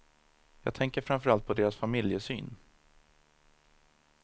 Jag tänker framför allt på deras familjesyn.